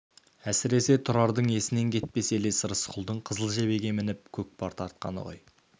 әсіресе тұрардың есінен кетпес елес рысқұлдың қызыл жебеге мініп көкпар тартқаны ғой